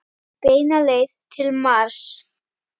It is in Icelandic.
Beina leið til Mars.